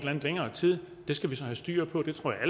længere tid det skal vi så have styr på det tror jeg